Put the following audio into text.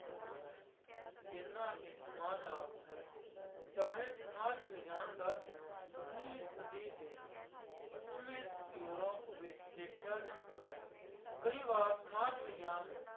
ਪੁਰਾਣਾ ਹੈ ਜਿੰਨਾ ਕਿ ਸਮਾਜ ਆਪ ਹੈ, ਚਾਹੇ ਸਮਾਜ ਵਿਗਿਆਨ ਦਾ ਜਨਮ ਉਨਵੀਂ ਸਦੀ ਦੇ ਪੱਛਮੀ ਯੂਰਪ ਵਿੱਚ ਦੇਖਿਆ ਜਾਂਦਾ ਹੈ ਕਈ ਵਾਰ ਸਮਾਜ ਵਿਗਿਆਨ ਨੂੰ